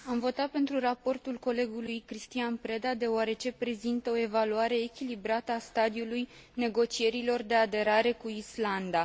Am votat pentru raportul colegului Cristian Preda, deoarece prezintă o evaluare echilibrată a stadiului negocierilor de aderare cu Islanda.